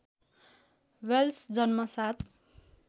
Wales जन्म ७